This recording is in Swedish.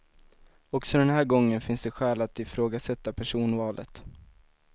Också den här gången finns det skäl att ifrågasätta personvalet.